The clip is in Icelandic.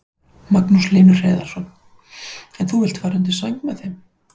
Magnús Hlynur Hreiðarsson: En þú vilt fara undir sæng með þeim?